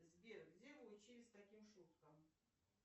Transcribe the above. сбер где вы учились таким шуткам